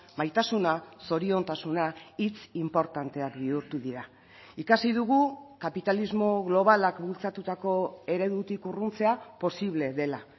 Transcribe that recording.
maitasuna zoriontasuna hitz inportanteak bihurtu dira ikasi dugu kapitalismo globalak bultzatutako eredutik urruntzea posible dela